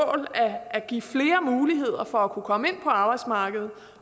at give flere muligheder for at kunne komme ind på arbejdsmarkedet